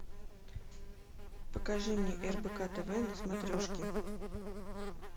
покажи мне рбк тв на смотрешке